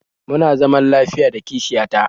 Muna zaman lafiya da kishiya ta